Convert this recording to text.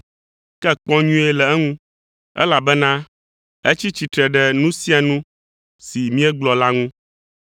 Ke kpɔ nyuie le eŋu, elabena etsi tsitre ɖe nu sia nu si míegblɔ la ŋu.